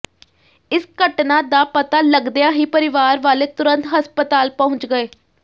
ਇਸ ਘਟਨਾ ਦਾ ਪਤਾ ਲੱਗਦਿਆਂ ਹੀ ਪਰਿਵਾਰ ਵਾਲੇ ਤੁਰੰਤ ਹਸਪਤਾਲ ਪਹੁੰਚ ਗਏ